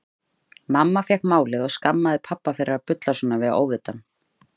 Mamma fékk málið og skammaði pabba fyrir að bulla svona við óvitann.